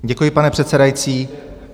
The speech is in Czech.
Děkuji, pane předsedající.